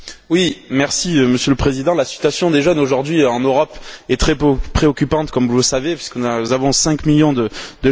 Monsieur le Président, la situation des jeunes aujourd'hui en Europe est très préoccupante comme vous le savez puisque nous avons cinq millions de jeunes au chômage.